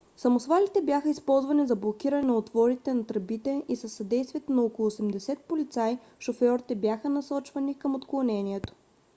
самосвалите бяха използвани за блокиране на отворите на тръбите и със съдействието на около 80 полицаи шофьорите бяха насочвани към отклонението